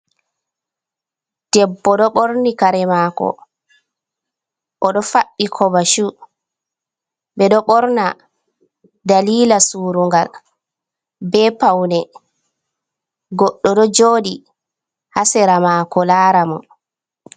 Debbo ɗo ɓorni kaare mako, oɗo faɗɗi kovachu, be ɗo ɓorna dalila surungal be paune, goɗɗo ɗo jooɗi ha seera mako laara mo.